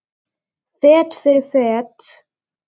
Fet fyrir fet.